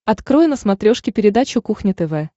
открой на смотрешке передачу кухня тв